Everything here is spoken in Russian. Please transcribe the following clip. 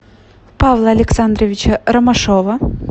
павла александровича ромашова